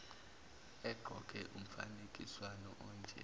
egqoke umfaniswano onje